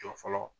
Jɔ fɔlɔ